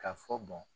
Ka fɔ